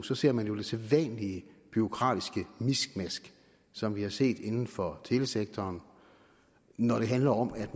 så ser man jo det sædvanlige bureaukratiske miskmask som vi har set inden for telesektoren når det handler om at